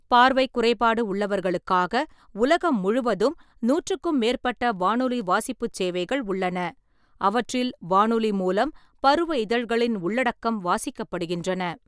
பார்வைக் குறைபாடு உள்ளவர்களுக்காக உலகம் முழுவதும் நூட்றுக்கும் மேற்பட்ட வானொலி வாசிப்புச் சேவைகள் உள்ளன, அவற்றில் வானொலி மூலம் பருவ இதழ்களின் உள்ளடக்கம் வாசிக்கப்படுகின்றன.